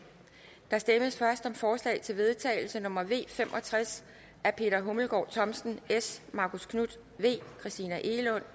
der stemmes først om forslag til vedtagelse nummer v fem og tres af peter hummelgaard thomsen marcus knuth christina egelund